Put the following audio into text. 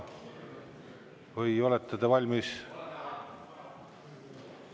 Või olete te valmis?